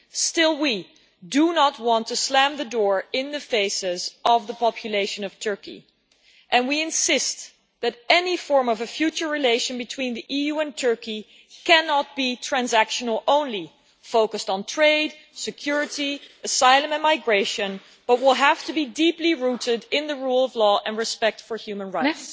Still, we do not want to slam the door in the faces of the population of Turkey and we insist that any form of a future relation between the EU and Turkey cannot be transactional only, focused on trade security, asylum and migration, but will have to be deeply rooted in the rule of law and respect for human rights.